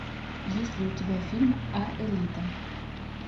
есть ли у тебя фильм аэлита